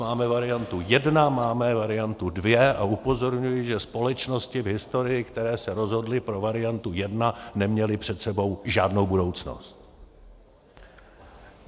Máme variantu 1, máme variantu 2, a upozorňuji, že společnosti v historii, které se rozhodly pro variantu 1, neměly před sebou žádnou budoucnost.